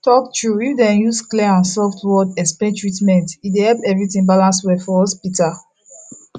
true talk if dem use clear and soft word explain treatment e dey help everything balance well for hospital